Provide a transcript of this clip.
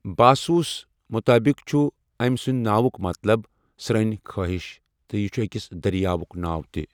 باسُوَس مُطٲبِق چھُ أمۍ سٕنٛدِ ناوُکھ مطلب 'سرٛنۍ خٲہِش'، تہٕ یہِ چھُ أکِس دٔریاوُکھ ناو تہِ۔